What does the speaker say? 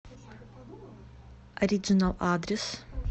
ориджинал адрес